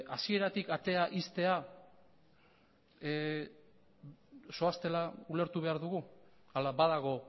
hasieratik atea ixtea zoaztela ulertu behar dugu ala badago